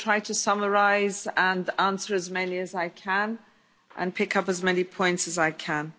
I will try to summarise and answer as many as I can and pick up as many points as I can.